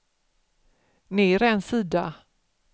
ner en sida